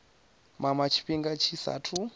mama tshifhinga tshi sa athu